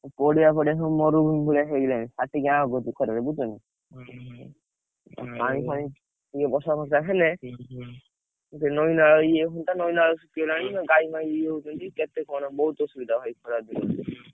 ପଡିଆ ଫଡିଆ ସବୁ ମରୁଭୁମି ଭଳିଆ ହେଇଗଲାଣି ମାଟି ଅଁ କରିଛି ଖରା ରେ ବୁଝୁଛ ନା। ପାଣି ଫଣୀ ଟିକେ ବର୍ଷା ଫର୍ଷା ହେଲେ ଟିକେ ନଇ ନାଳ ଇଏ ହନ୍ତା ନଇ ନାଳ ଶୁଖି ଗଲାଣି ଗାଈ ଫାଇ ଇଏ ହଉଛନ୍ତି କେତେ କଣ ବହୁତ ଅସୁବିଧା ଭାଇ ଖରା ଦିନେ।